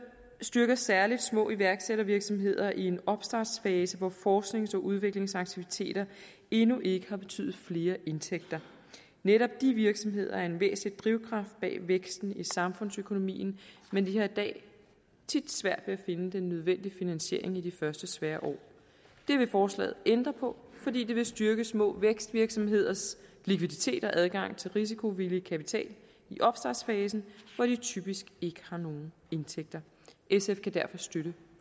styrker særlig små iværksættervirksomheder i en opstartsfase hvor forsknings og udviklingsaktiviteter endnu ikke har betydet flere indtægter netop de virksomheder er en væsentlig drivkraft bag væksten i samfundsøkonomien men de har i dag tit svært ved at finde den nødvendige finansiering i de første svære år det vil forslaget ændre på fordi det vil styrke små vækstvirksomheders likviditet og adgang til risikovillig kapital i opstartsfasen hvor de typisk ikke har nogen indtægter sf kan derfor støtte